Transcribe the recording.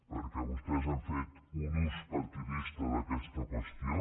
perquè vostès han fet un ús partidista d’aquesta qüestió